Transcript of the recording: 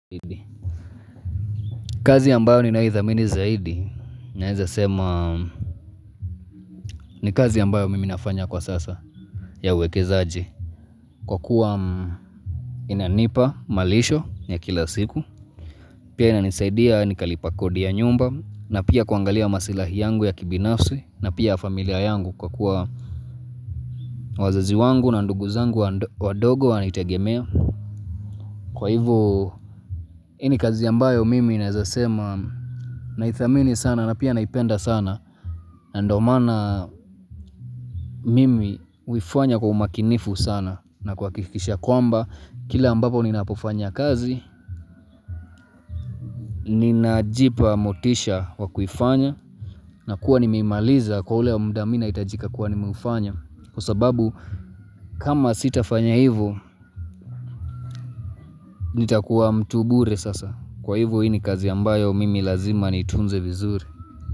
Kazi ambayo ni naithamini zaidi, naeza sema ni kazi ambayo mimi nafanya kwa sasa ya uweke zaji Kwa kuwa inanipa malisho ya kila siku, pia inanisaidia ni kalipa kodi ya nyumba na pia kuangalia masilahi yangu ya kibinafsi, na pia familia yangu kwa kuwa wazazi wangu na nduguzangu wadogo wanitegemea Kwa hivo, ini kazi ambayo mimi naweza sema naithamini sana na pia naipenda sana na ndo maana mimi huifanya kwa umakinifu sana na kwa kuhakikisha kwamba kila ambapo ninapofanya kazi, ninajipa motisha wakufanya na kuwa nimemaliza kwa ule mudamina itajika kuwa nimeufanya kwa sababu kama sitafanya hivo, nitakuwa mtubure sasa kwa hivo ini kazi ambayo mimi lazima nitunze vizuri.